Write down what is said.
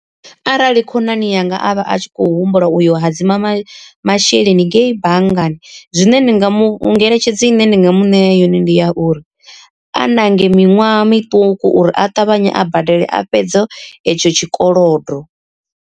Arali khonani yanga a vha a tshi khou humbula uyo hadzima masheleni ngei banngani zwine ndi nga mu ngeletshedzo ine ndi nga mu ṋea yone ndi ya uri, a nange miṅwaha miṱuku uri a ṱavhanye a badele a fhedze etsho tshikolodo.